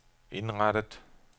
indrettet